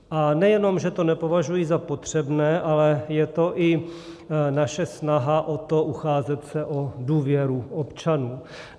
A nejenom že to nepovažuji za potřebné, ale je to i naše snaha o to ucházet se o důvěru občanů.